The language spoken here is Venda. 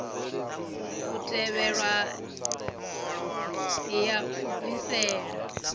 u tevhelwa ya u bvisela